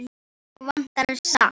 Mig vantar salt.